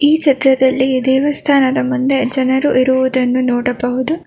ಈ ಚಿತ್ರದಲ್ಲಿ ದೇವಸ್ಥಾನದ ಮುಂದೆ ಜನರು ಇರುವುದನ್ನು ನೋಡಬಹುದು.